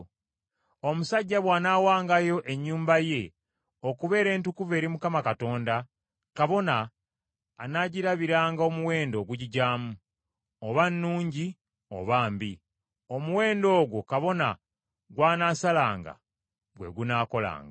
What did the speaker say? “Omusajja bw’anaawangayo ennyumba ye okubeera entukuvu eri Mukama Katonda kabona anaagirabiranga omuwendo ogugigyamu, oba nnungi oba mbi. Omuwendo ogwo kabona gw’anaasalanga gwe gunaakolanga.